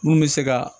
Mun bɛ se ka